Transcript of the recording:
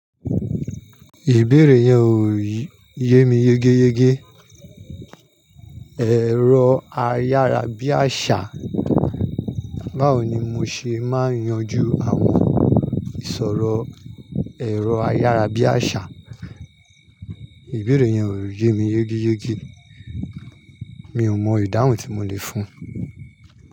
Ìbéèrè yẹn ò yé mi yégéyégé. Ẹ̀rọ ayárabíàṣá, báwo ni mo ṣe máa yanjú àwọn ìsọ̀rọ̀ ẹ̀rọ ayárabíàṣá? Ìbéèrè yẹn ò yé mi yégéyégé, mi ò mọ ìdáhùn tí mo lè fún un.